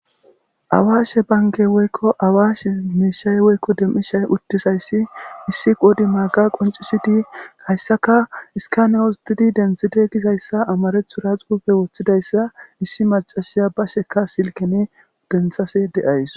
Awaashe banke woykko awaashe miishay woykko demmishay uttizayssi issi qodi maga qoncisidi hayssaka iskanewosdidi denthide gizayssa amarethu ra xuupe woththidayssa issi macashiya basheka silkene denthase de'ays.